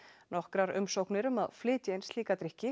nokkrar umsóknir um að flytja inn slíka drykki